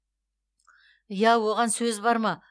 иә оған сөз бар ма